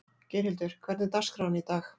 Geirhildur, hvernig er dagskráin í dag?